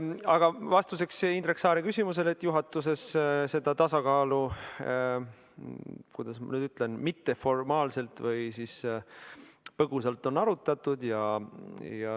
Aga vastuseks Indrek Saare küsimusele ütlen, et juhatuses on seda tasakaalu, kuidas ma nüüd ütlen, mitteformaalselt või põgusalt arutatud.